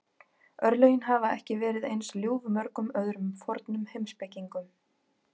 Örlögin hafa ekki verið eins ljúf mörgum öðrum fornum heimspekingum.